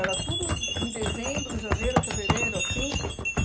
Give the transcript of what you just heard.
Era tudo em dezembro, janeiro, fevereiro, assim.